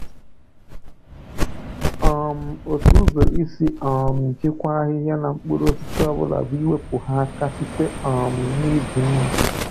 um Otu ụzọ isi um jikwaa ahịhịa na mkpụrụosisi ọ bụla bụ iwepụ ha aka site um n’iji mma.